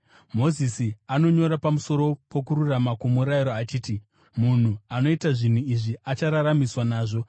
Mozisi anonyora pamusoro pokururama kwomurayiro, achiti, “Munhu anoita zvinhu izvi achararamiswa nazvo.”